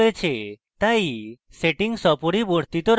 তাই আমরা সেটিংস অপরিবর্তিত রাখি